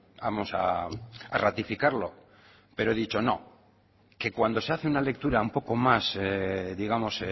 vamos a ratificarlo pero he dicho no que cuando se hace una lectura un poco más digamos